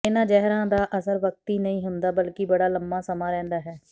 ਇਨ੍ਹਾਂ ਜ਼ਹਿਰਾਂ ਦਾ ਅਸਰ ਵਕਤੀ ਨਹੀਂ ਹੁੰਦਾ ਬਲਕਿ ਬੜਾ ਲੰਮਾ ਸਮਾਂ ਰਹਿੰਦਾ ਹੈ